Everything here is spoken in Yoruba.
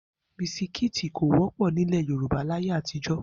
Bisikíìtì kò wọ́pọ̀ nílẹ̀ Yorùbá láyé àtijọ́